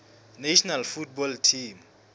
national football team